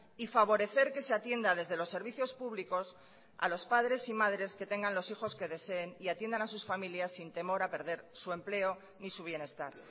y favorecer que se atienda desde los servicios públicos a los padres y madres que tengan los hijos que deseen y atiendan a sus familias sin temor a perder su empleo ni su bienestar